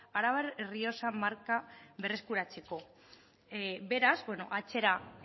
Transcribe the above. arabar errioxa marka berreskuratzeko beraz atzera